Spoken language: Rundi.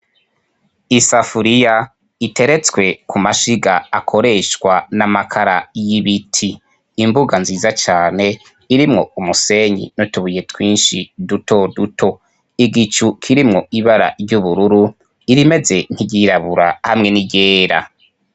Isafuriya iteretswe ku mashiga akoresha n'amakara y'ibiti. Imbuga nziza cane irimwo umusenyi n'utubuye dutoduto. Igicu kirimwo ibara ry'ubururu, irimeze nk'iryirabura hamwe n'iryera.